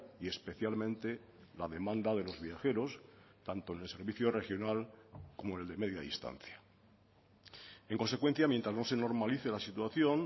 y especialmente la demanda de los viajeros tanto en el servicio regional como el de media distancia en consecuencia mientras no se normalice la situación